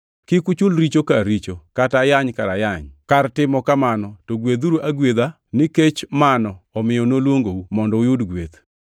Kik uchul richo kar richo, kata ayany kar ayany kar timo kamano to gwedhuru agwedha, nikech mano omiyo noluongou, mondo uyud gweth.